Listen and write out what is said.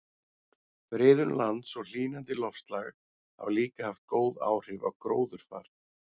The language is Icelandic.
Friðun lands og hlýnandi loftslag hafa líka haft góð áhrif á gróðurfar.